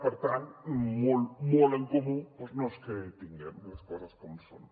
per tant molt molt en comú doncs no és que tinguem les coses com són